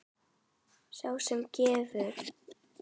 Sá sem sefar.